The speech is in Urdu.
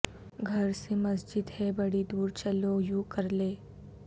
گھر سے مسجد ہے بڑی دور چلو یوں کر لیں